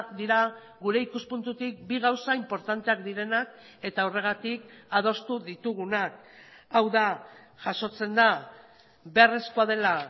dira gure ikuspuntutik bi gauza inportanteak direnak eta horregatik adostu ditugunak hau da jasotzen da beharrezkoa dela